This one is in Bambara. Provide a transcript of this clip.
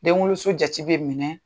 Denwoloso jate bɛ minɛ